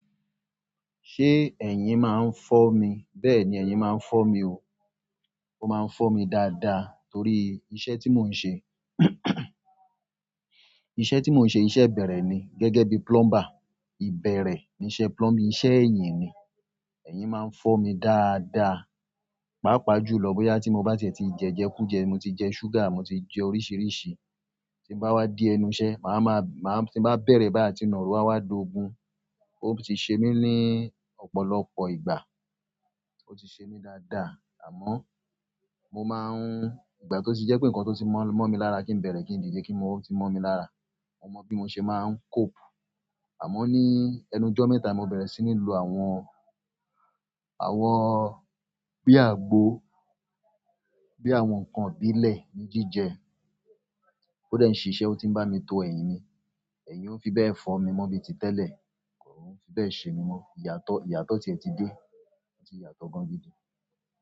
Ṣé ẹ̀yin máa ń fọ́ mi? Bẹ́ẹ̀ni, ẹ̀yin máa ń fọ́ mi o. O máa ń fọ́ mi dáadáa torí iṣẹ́ tí mò ń ṣe. Iṣẹ́ tí mò ń ṣe, iṣẹ́ bẹ̀rẹ̀ ni. Gẹ́gẹ́ bí plumber. Ìbẹ̀rẹ̀ ní iṣẹ́ plumbing, iṣẹ́ ẹ̀yìn ni. Ẹ̀yin máa ń fọ́ mi dáadáa, pàápàá jùlọ bóyá tí mo bá ti e ti jẹ jẹkuje, mo ti jẹ sugar, mo ti jẹ oríṣìíríṣìí. Tí n bá wá dé ẹnu iṣẹ́, màá máa, máa tí n bá bẹ̀rẹ̀ báyìí atí naaro àwa d'ogun. Ó ti ṣe mí ní ọ̀pọ̀lọpọ̀ ìgbà. Ó ti ṣe mí dáadáa. Amo mo maa nígbà ti o ti je pe nkan ti o ti mo mi lára ki n bere ki n dide oti mo mi lára. Mo mọ bí mo ṣe máa ń cope. Àmọ́ ní ẹnu jọ́ mẹ́ta mo bẹ̀rẹ̀ sí ní lo àwọn, àwọn bi àgbo, bi àwọn nǹkan ìbílẹ̀ ní jíjẹ. Ó dẹ̀ ń ṣi ṣẹ́, ó ti ń bá mi to ẹ̀yìn mi. Ẹ̀yìn ò fi bẹ́ẹ̀ fọ́ mi mọ́ bíi ti tẹ́lẹ̀. Kò fi bẹ́ẹ̀ ṣe mí mọ́. Ìyàtọ̀, ìyàtọ̀ tí ẹ ti dé. Oti yàtọ̀ gan gidi.